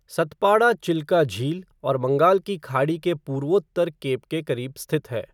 सतपाड़ा चिल्का झील और बंगाल की खाड़ी के पूर्वोत्तर केप के करीब स्थित है।